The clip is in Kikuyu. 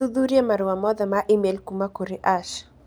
ũthuthurie marũa mothe ma e-mail kuuma kũrĩ Ash